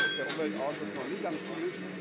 Da ist der Umweltausschuss noch nicht am Ziel.